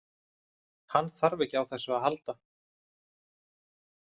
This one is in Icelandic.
Hann þarf ekki á þessu að halda.